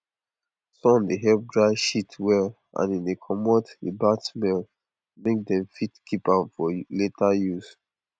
sun dey help dry shit well and e dey commot the bad smell make dem fit keep am for later use